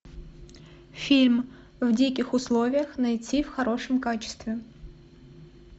фильм в диких условиях найти в хорошем качестве